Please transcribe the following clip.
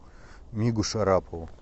мигу шарапову